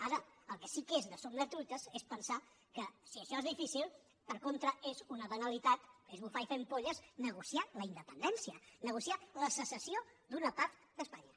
ara el que sí que és de somiatruites és pensar que si això és difícil per contra és una banalitat és bufar i fer ampolles negociar la independència negociar la secessió d’una part d’espanya